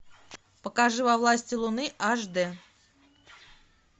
покажи во власти луны аш д